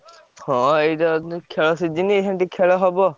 ହଁ ଏଇ time ରେ ତ ଖେଳ season ଏଇଖା ଟିକେ ଖେଳ ହବ।